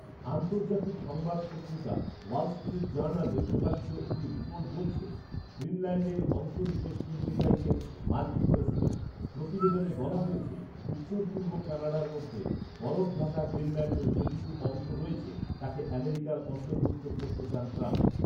আন্তর্জাতিক সংবাদ পত্রিকা ওয়াল স্ট্রিট জার্নালে প্রকাশিত একটি রিপোর্ট বলছে, গ্রিনল্যান্ডের অংশবিশেষ কিনতে চাইছেন মার্কিন প্রেসিডেন্ট৷ প্রতিবেদনে বলা হয়েছে, উত্তর পূর্ব কানাডার মধ্যে বরফঢাকা গ্রিনল্যান্ডের যেটুকু অংশ রয়েছে, তাকে আমেরিকার অন্তর্ভুক্ত করতে চান ট্রাম্প৷